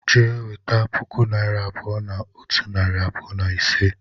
Jee weta puku naira abuo na otu nari abuo na ise!